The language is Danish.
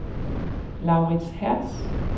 Laurits Hertz